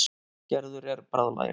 Gerður er bráðlagin.